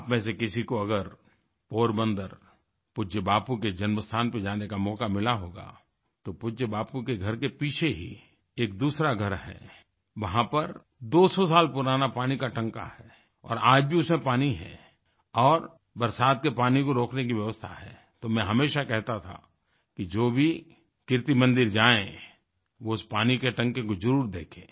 आपमें से किसी को अगर पोरबंदरपूज्य बापू के जन्म स्थान पर जाने का मौका मिला होगा तो पूज्य बापू के घर के पीछे ही एक दूसरा घर है वहाँ पर 200 साल पुराना पानी काटांकावाटर स्टोरेज टैंक है और आज भी उसमें पानी है और बरसात के पानी को रोकने की व्यवस्था है तो मैं हमेशा कहता था कि जो भी कीर्ति मंदिर जायें वो उस पानी के टांके को जरुर देखें